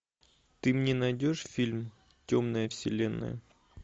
ты мне найдешь фильм темная вселенная